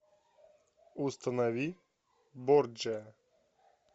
установи борджиа